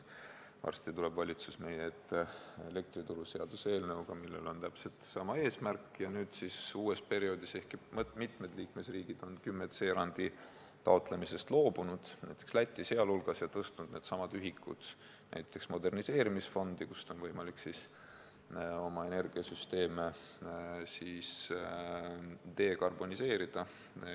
Varsti tuleb valitsus meie ette elektrituruseaduse eelnõuga, millel on täpselt sama eesmärk, ehkki mitmed liikmesriigid on 10c erandi taotlemisest loobunud, Läti sealhulgas, ja tõstnud needsamad ühikud näiteks moderniseerimisfondi, mille kaudu on võimalik oma energiasüsteeme jõulisemalt dekarboniseerida.